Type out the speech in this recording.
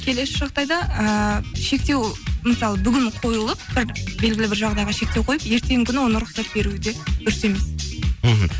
келесі жағдайда ііі шектеу мысалы бүгін қойылып белгілі бір жағдайға шектеу қойып ертеңгі күні оны рұқсат беруі де дұрыс емес мхм